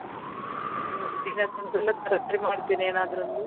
ಮಾಡ್ತಿನಿ ಏನಾದ್ರು ಅಲ್ಲಿ.